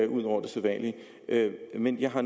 ud over det sædvanlige men jeg har